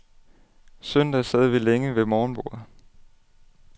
Søndag sad vi længe ved morgenbordet.